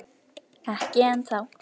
Ekki ennþá.